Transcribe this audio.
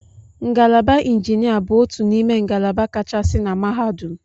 Ngalaba injinia bụ otu n'ime ngalaba kachasị na mahadum.